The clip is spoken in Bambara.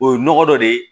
O ye nɔgɔ dɔ de ye